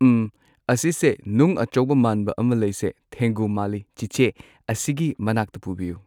ꯎꯝ ꯑꯁꯤꯁꯦ ꯅꯨꯡ ꯑꯆꯧꯕ ꯃꯥꯟꯕ ꯑꯃ ꯂꯩꯁꯦ ꯊꯦꯡꯒꯨ ꯃꯥꯜꯂꯤ ꯆꯤꯆꯦ ꯑꯁꯤꯒꯤ ꯃꯅꯥꯛꯇ ꯄꯨꯕꯤꯌꯨ